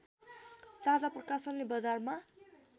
साझा प्रकाशनले बजारमा